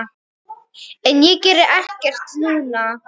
En ég geri ekkert núna.